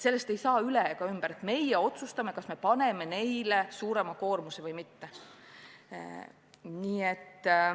Sellest ei saa üle ega ümber, et meie peame otsustama, kas me paneme neile suurema koormuse või mitte.